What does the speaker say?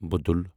بُدل